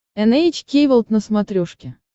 эн эйч кей волд на смотрешке